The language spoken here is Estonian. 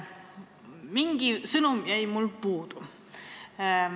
Mingi sõnum aga jäi puudu.